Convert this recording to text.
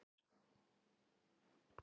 Segja af mér